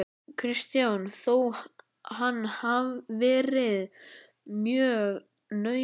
Kristján: Þó hann verið mjög naumur?